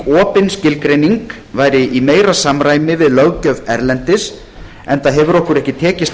opin skilgreining væri í meira samræmi við löggjöf erlendis enda hefur okkur ekki tekist